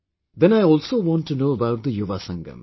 Then I also want to know about the Yuva Sangam